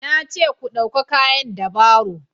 na ce ku dauka kayan da baro